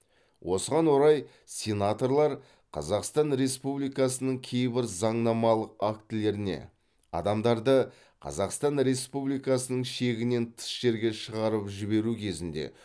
осыған орай сенаторлар қазақстан республикасының кейбір заңнамалық актілеріне адамдарды қазақстан республикасының шегінен тыс жерге шығарып жіберу кезінде